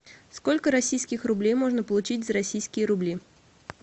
сколько российских рублей можно получить за российские рубли